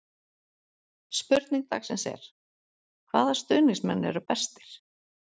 Spurning dagsins er: Hvaða stuðningsmenn eru bestir?